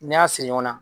N'i y'a siri ɲɔgɔn na